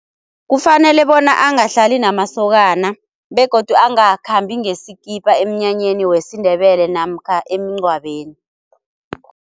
Kufanele bona angahlali namasokana begodu angakhambi ngesikipa emnyanyeni wesiNdebele namkha emngcwabeni.